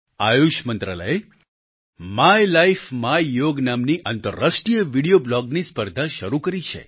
આયુષ મંત્રાલયે my life my yoga નામથી આંતરરાષ્ટ્રિય વીડિયો બ્લોગની સ્પર્ધા શરૂ કરી છે